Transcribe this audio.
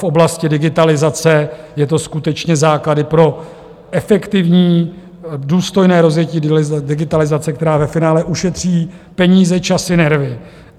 V oblasti digitalizace jsou to skutečně základy pro efektivní, důstojné, rozjetí digitalizace, která ve finále ušetří peníze, časy, nervy.